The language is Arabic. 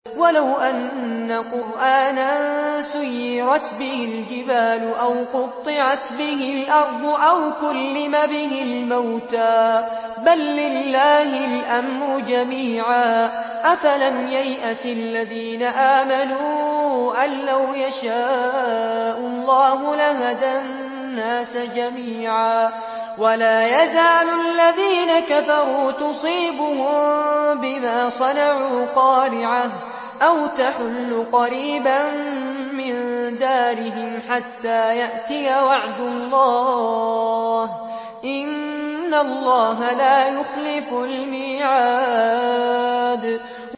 وَلَوْ أَنَّ قُرْآنًا سُيِّرَتْ بِهِ الْجِبَالُ أَوْ قُطِّعَتْ بِهِ الْأَرْضُ أَوْ كُلِّمَ بِهِ الْمَوْتَىٰ ۗ بَل لِّلَّهِ الْأَمْرُ جَمِيعًا ۗ أَفَلَمْ يَيْأَسِ الَّذِينَ آمَنُوا أَن لَّوْ يَشَاءُ اللَّهُ لَهَدَى النَّاسَ جَمِيعًا ۗ وَلَا يَزَالُ الَّذِينَ كَفَرُوا تُصِيبُهُم بِمَا صَنَعُوا قَارِعَةٌ أَوْ تَحُلُّ قَرِيبًا مِّن دَارِهِمْ حَتَّىٰ يَأْتِيَ وَعْدُ اللَّهِ ۚ إِنَّ اللَّهَ لَا يُخْلِفُ الْمِيعَادَ